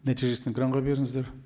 нәтижесін экранға беріңіздер